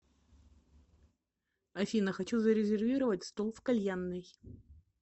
афина хочу зарезервировать стол в кальянной